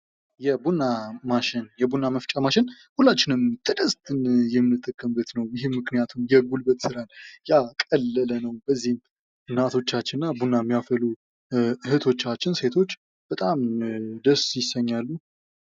የቡና ማሽን ፡-የቡና መፍጫ ማሽን ሁላችንም የምንጠቀምበት ነው። ይህም ምክንያቱም የጉልበት ሥራን ያቀለለ ነው ። በዚህም እናቶቻችንና ቡና የሚያፈሉ እህቶቻችን ሴቶች በጣም ደስ ይሰኛሉ።